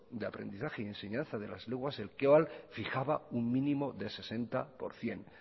de aprendizaje y enseñanza de las lenguas el que fijaba un mínimo del sesenta por ciento